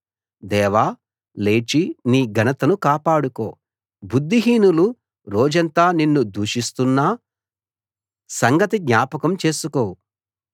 దేవా లేచి నీ ఘనతను కాపాడుకో బుద్ధిహీనులు రోజంతా నిన్ను దూషిస్తున్న సంగతి జ్ఞాపకం చేసుకో